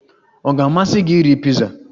Ọ ga-amasị gị iri piza?